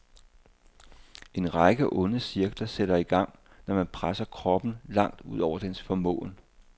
En række onde cirkler sætter i gang, når man presser kroppen langt ud over dens formåen.